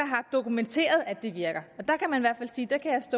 har dokumenteret at det virker